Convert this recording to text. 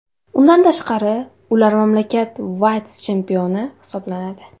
Undan tashqari, ular mamlakat vitse-chempioni hisoblanadi.